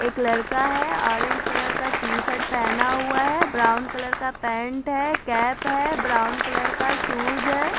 एक लड़का है और ऑरेंज कलर का टी-शर्ट पहना हुआ है ब्राउन कलर का पेंट है कैप है ब्राउन का शूज है।